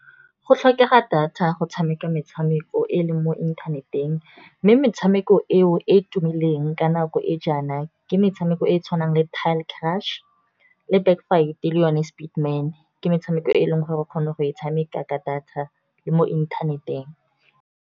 Go tlhokega data go tshameka metshameko e e leng mo inthaneteng. Mme metshameko eo e e tumileng ka nako e jaana, ke metshameko e e tshwanang le tile crush le baxk fight le yone speed man, ke metshameko e e leng gore re kgona go e tshameka ka data le mo inthaneteng.